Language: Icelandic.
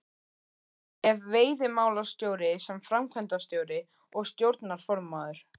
Ef veiðimálastjóri sem framkvæmdastjóri og stjórnarformaður